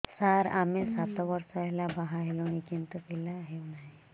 ସାର ଆମେ ସାତ ବର୍ଷ ହେଲା ବାହା ହେଲୁଣି କିନ୍ତୁ ପିଲା ହେଉନାହିଁ